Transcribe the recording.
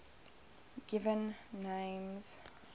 given names